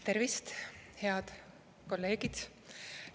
Tervist, head kolleegid!